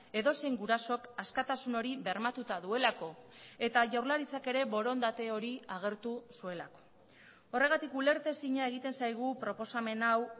edozein gurasok askatasun hori bermatuta duelako eta jaurlaritzak ere borondate hori agertu zuelako horregatik ulertezina egiten zaigu proposamen hau